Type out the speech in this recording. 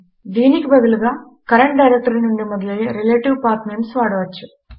దీనికి బదులుగా current directory నుండి మొదలయ్యే రిలేటివ్ పత్నమేస్ వాడవచ్చు